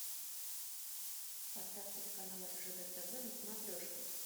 поставь телеканал ржд тв на смотрешке